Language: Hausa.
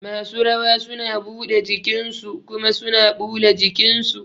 Masu rawa suna buɗe jikin su kuma suna ɓula jikin su